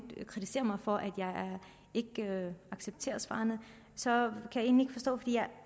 kritiserer mig for at jeg ikke accepterer svarene så kan